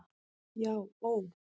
Já ó.